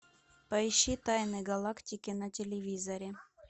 поищи тайны галактики на телевизоре